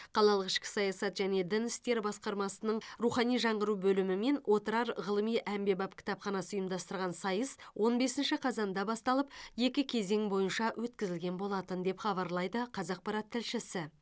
қалалық ішкі саясат және дін істері басқармасының рухани жаңғыру бөлімі мен отырар ғылыми әмбебап кітапханасы ұйымдастырған сайыс он бесінші қазанда басталып екі кезең бойынша өткізілген болатын деп хабарлайды қазақпарат тілшісі